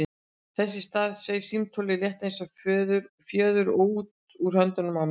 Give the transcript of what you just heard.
Þess í stað sveif símtólið, létt eins og fjöður, úr höndunum á mér.